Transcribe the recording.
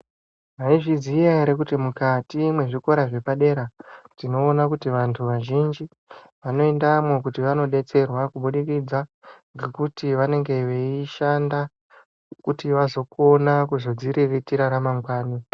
Mwaizviziya ere kuti mukati mwezvikora zvepadera tinoona kuti vantu vazhinji vanoendamwo kuti vanodetserwa kubudikidza ngekuti vanenge veishanda kuti vazokone kuzodziriritira ramangwani.